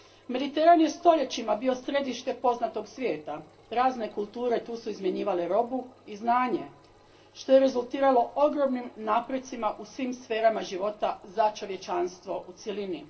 Mediteran je stoljećima bio središte poznatog svijeta, razne su kulture tu izmjenjivale robu i znanje što je rezultiralo ogromnim naprecima u svim sferama života za čovječanstvo u cjelini.